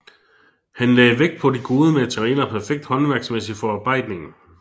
Han lagde vægt på de gode materialer og perfekt håndværksmæssig forarbejdning